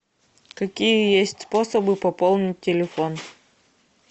какие есть способы пополнить телефон